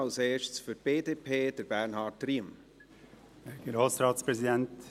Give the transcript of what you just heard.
Als erster für die BDP, Bernhard Riem.